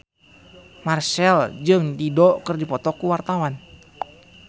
Marchell jeung Dido keur dipoto ku wartawan